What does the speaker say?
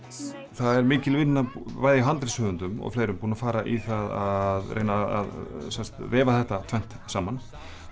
það er mikil vinna bæði hjá handritshöfundum og fleirum búin að fara í það að reyna að sem sagt vefa þetta tvennt saman